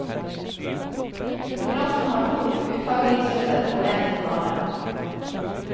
Konkurransen har to uttagningsrunder og en finale.